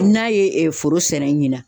N'a ye foro sɛnɛ ɲina.